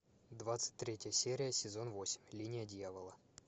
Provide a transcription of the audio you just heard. двадцать третья серия сезон восемь линия дьявола